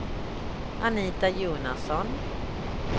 Anita Jonasson